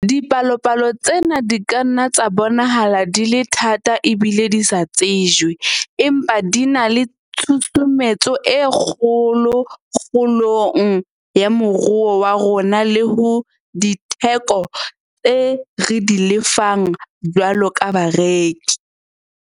Dipalopalo tsena di ka nna tsa bonahala di le thata ebile di sa tsejwe, empa di na le tshusumetso e kgolo kgolong ya moruo wa rona le ho ditheko tseo re di lefang jwalo ka bareki.